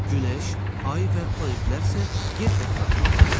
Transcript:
Günəş, ay və planetlər isə yer ətrafında fırlanır.